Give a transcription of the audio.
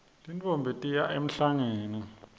tintfombi tiya emhlangeni